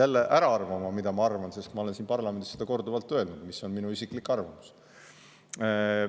jälle ära arvama, mida ma arvan, sest ma olen siin parlamendis seda korduvalt öelnud, mis on minu isiklik arvamus.